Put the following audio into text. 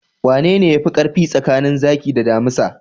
Wanene yafi karfi tsakanin zaki da damisa?